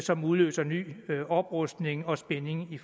som udløser ny oprustning og spænding i